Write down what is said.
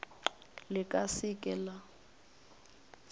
le ka se ke la